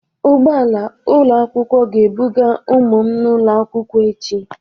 Ụgbọ ala ụlọ akwụkwọ ga-ebuga ụmụ m n'ụlọ akwụkwọ echi.